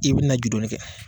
I bɛna ju donni kɛ